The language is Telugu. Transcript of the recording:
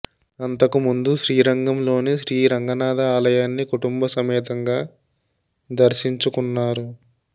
అంతకు ముందు శ్రీరంగంలోని శ్రీ రంగనాథ ఆలయాన్ని కుటుంబ సమేతంగా దర్శించుకున్నారు